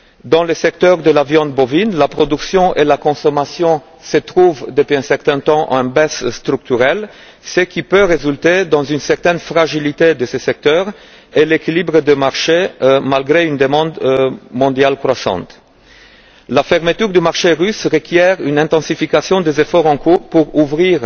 Dans le secteur de la viande bovine, la production et la consommation se trouvent depuis un certain temps en baisse structurelle, ce qui peut entraîner une certaine fragilité de ce secteur et de l'équilibre du marché, malgré une demande mondiale croissante. La fermeture du marché russe requiert une intensification des efforts en cours pour ouvrir